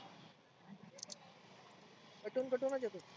कटुन अटुनच येतो.